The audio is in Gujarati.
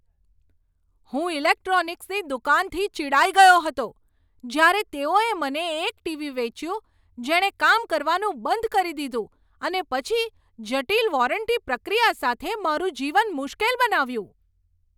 હું ઇલેક્ટ્રોનિક્સની દુકાનથી ચિડાઈ ગયો હતો જ્યારે તેઓએ મને એક ટીવી વેચ્યું જેણે કામ કરવાનું બંધ કરી દીધું અને પછી જટિલ વોરંટી પ્રક્રિયા સાથે મારું જીવન મુશ્કેલ બનાવ્યું.